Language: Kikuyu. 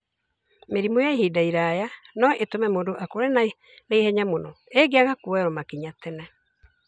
Mĩrimũ ya ihinda iraya no ĩtũme mũndũ akũre na ihenya mũno ĩngĩaga kuoyerwo makinya tene.